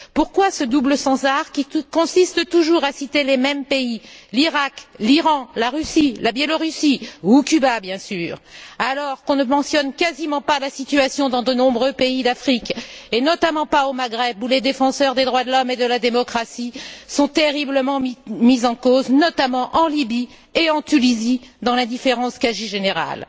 Pourquoi ce double standard, qui consiste toujours à citer les mêmes pays l'Irak, l'Iran, la Russie, la Biélorussie ou Cuba, alors qu'on ne mentionne quasiment pas la situation dans de nombreux pays d'Afrique, et notamment pas au Maghreb où les défenseurs des droits de l'homme et de la démocratie sont terriblement mis en cause, notamment en Lybie et en Tunisie, dans l'indifférence quasi générale?